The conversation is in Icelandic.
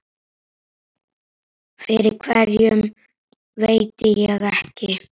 Fyrir hverju veit ég ekki.